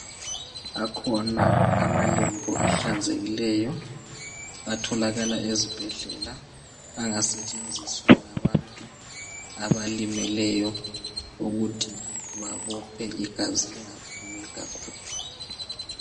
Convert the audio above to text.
Akhona amalembu ahlanzekileyo atholakala ezibhedlela angasetshenjiswa ngabantu abalimeleyo ukuthi babophe igazi lingaphumi kakhulu.